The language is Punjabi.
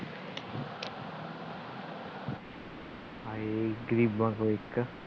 ਹਾਏ ਇੱਦਰ ਹੀ ਵੰਡ ਦੋ ਇੱਕ